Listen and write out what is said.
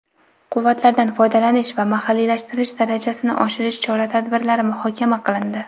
quvvatlardan foydalanish va mahalliylashtirish darajasini oshirish chora-tadbirlari muhokama qilindi.